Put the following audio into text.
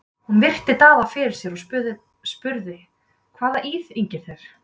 Hún virti Daða fyrir sér og spurði:-Hvað íþyngir þér?